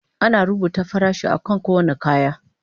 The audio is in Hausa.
Ana rubuta farashin akan kowane kaya.